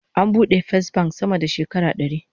An bude Fesbank sama da shekara dari